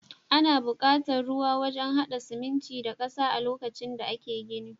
Ana bukatar ruwa wajan hada siminti da ƙasa lokacin da ake gini.